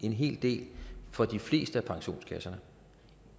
en hel del for de fleste af pensionskasserne